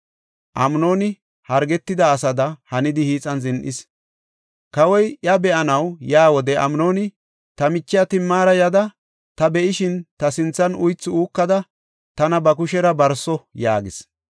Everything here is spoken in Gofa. Amnooni hargetida asada hanidi hiixan zin7is. Kawoy iya be7anaw yaa wode Amnooni, “Ta michiya Timaara yada, ta be7ishin ta sinthan uythi uukada tana ba kushera barso” yaagis.